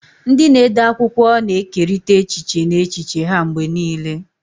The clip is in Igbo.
Ndị na-ede akwụkwọ na-ekerịta echiche na echiche ha mgbe niile.